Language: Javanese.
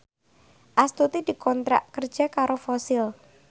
Astuti dikontrak kerja karo Fossil